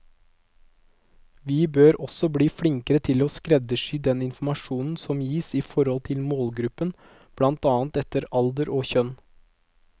Vi bør også bli flinkere til å skreddersy den informasjon som gis i forhold til målgruppen, blant annet etter alder og kjønn.